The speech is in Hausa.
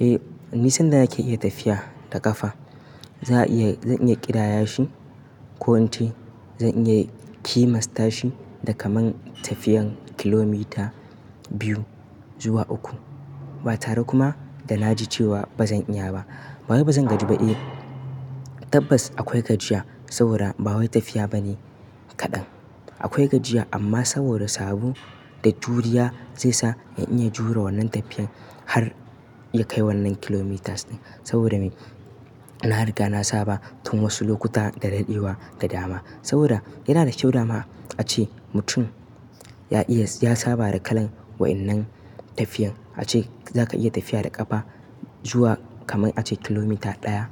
Eh, ni sanda naka iya tafiya da ƙafa, zaaiya--zan iya ƙidaya shi ko in ce zan iya kimasta shi da kaman tafiyan kilomita biyu zuwa uku. Ba tare kuma da na ji cewa ba zan iya ba. Ba wai bazan gaji bane. Tabbas akwai gajiya saboda bawai tafiya bane kaɗan. Akwai gajiya amma saboda sabo da juriya zai sa in iya jure wannan tafiyan har ya kai wannan kilometers din saboda me? Na riga na saba tun wasu lokuta da daɗewa da dama. Saboda yana da kyau dama ace mutum ya iya-- ya saba da kalan wa'innan tafiyan. A ce zaka iya tafiya da ƙafa zuwa kaman a ce kilomita ɗaya